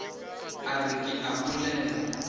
a re ke a bolela